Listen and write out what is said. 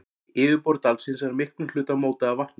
Yfirborð dalsins er að miklum hluta mótað af vatni.